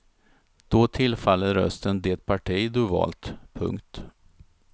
Då tillfaller rösten det parti du valt. punkt